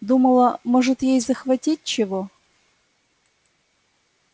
думала может ей захватить чего